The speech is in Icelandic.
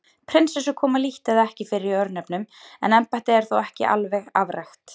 Prinsessur koma lítt eða ekki fyrir í örnefnum en embættið er þó ekki alveg afrækt.